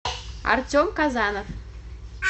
артем казанов